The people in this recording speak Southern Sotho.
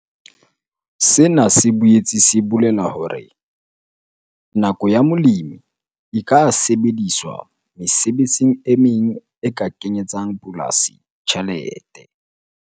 Sena se boetse se bolela hore nako ya molemi e ka sebediswa mesebetsing e meng e ka kenyetsang polasi tjhelete.